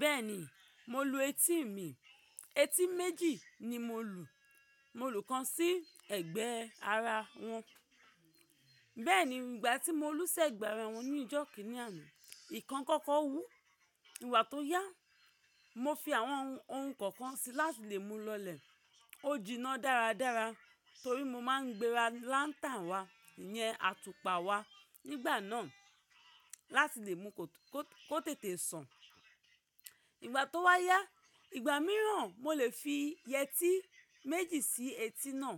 Bẹ́ẹ̀ni, mo lu etí mi. Etí méjì ni mo lu. Mo lu kan sí ẹ̀gbẹ́ àrá wọn. Bẹ́ẹ̀ni, ìgbà tí mo lu sẹ́gbẹ̀ àrá wọn ní ìjọ́ kìíní àná, ìkan kọ́kọ́ wú. Ìgbà tó yá, mo fi àwọn ohun kọ̀ọ̀kan sí láti lè mu lọlẹ̀. Ó jiná dára dára torí mo máa ń gbéra láńtà wá yẹn atupa wá nígbà náà láti lè mú kó tètè sàn. Ìgbà tó wá yá, ìgbà mìíràn mo lè fi yẹtí méjì sí etí náà.